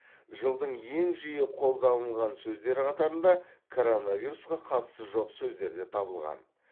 жылдың ең жиі қолданылған сөздері қатарында коронавирусқа қатысы жоқ сөздер де табылған